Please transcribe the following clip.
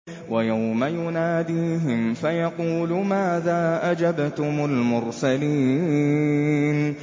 وَيَوْمَ يُنَادِيهِمْ فَيَقُولُ مَاذَا أَجَبْتُمُ الْمُرْسَلِينَ